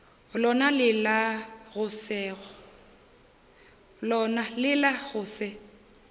lona le la go se